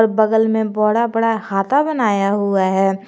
और बगल में बड़ा बड़ा हाता बनाया हुआ है।